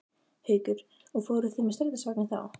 Haukur: Og fóruð þið með strætisvagni þá?